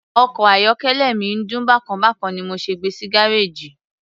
Ọkọ̀ ayọ́kẹ́lẹ́ mi ń dún bákan bákan ni mo ṣe gbe sí gárèjì.